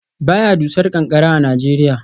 Ba ya dusar ƙanƙara a Najeriya